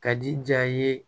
Ka di ja ye